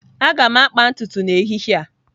Aga m akpa ntutu m n'ehihie a.